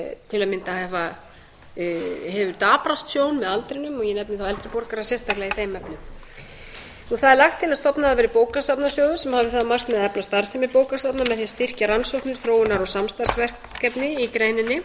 til að mynda hefur daprast sjón með aldrinum og ég nefni þá eldri borgara sérstaklega í þeim efnum það er lagt til að stofnaður verði bókasafnasjóður sem hafi það að markmiði að efla starfsemi bókasafna með því að styrkja rannsóknir þróunar og samstarfsverkefni í greininni